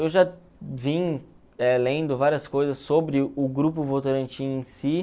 Eu já vim eh lendo várias coisas sobre o Grupo Votorantim em si.